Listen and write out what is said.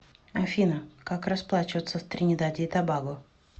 афина как расплачиваться в тринидаде и тобаго